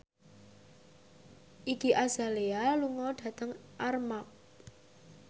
Iggy Azalea lunga dhateng Armargh